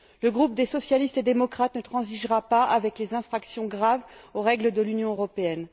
Le groupe des socialistes et démocrates ne transigera pas avec les infractions graves aux règles de l'Union européenne.